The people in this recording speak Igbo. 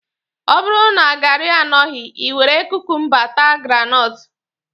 Ọ bụrụ na gaarị anọghị, Ị were kukumba taa granọtụ.